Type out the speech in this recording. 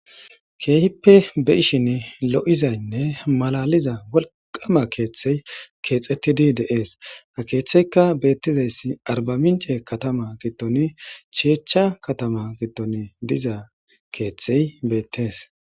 Keehippe be ishin lo'izaynne malaliza wolqama keeththey keexettidi deees a keeththeyka beettizayssi arba mince katama gittoni chiecha katama gitton diza keeththey beettees.